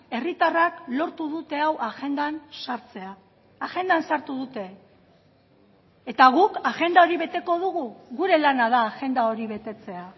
herritarrak lortu dute hau agendan sartzea agendan sartu dute eta guk agenda hori beteko dugu gure lana da agenda hori betetzea